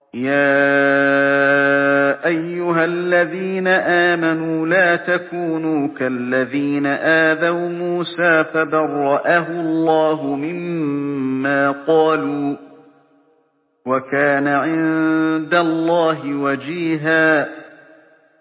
يَا أَيُّهَا الَّذِينَ آمَنُوا لَا تَكُونُوا كَالَّذِينَ آذَوْا مُوسَىٰ فَبَرَّأَهُ اللَّهُ مِمَّا قَالُوا ۚ وَكَانَ عِندَ اللَّهِ وَجِيهًا